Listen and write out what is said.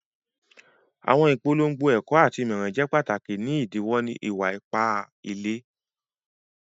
Àwọn ìpọ̀lọ́ngọ̀ ẹ̀kọ̀ àti ìmọ̀ràn jẹ́ pàtákì ní ìdílọ̀wọ̀ ìwà-ìpà ìlẹ̀.